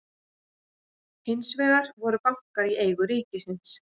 hins vegar voru bankar í eigu ríkisins